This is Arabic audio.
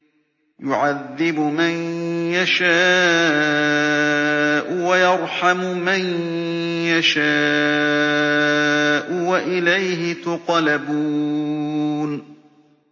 يُعَذِّبُ مَن يَشَاءُ وَيَرْحَمُ مَن يَشَاءُ ۖ وَإِلَيْهِ تُقْلَبُونَ